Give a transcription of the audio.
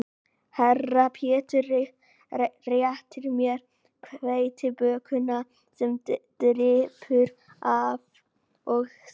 Herra Pétur réttir mér hveitibökuna sem drýpur af og segir